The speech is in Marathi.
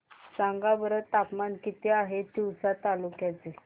सांगा बरं तापमान किती आहे तिवसा तालुक्या चे